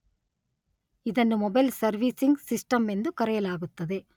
ಇದನ್ನು mobile servicing system ಎಂದು ಕರೆಯಲಾಗುತ್ತದೆ.